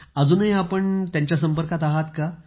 अजूनही आपण त्यांच्या संपर्कात आहात का